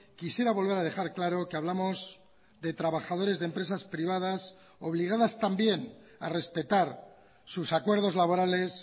quisiera volver a dejar claro que hablamos de trabajadores de empresas privadas obligadas también a respetar sus acuerdos laborales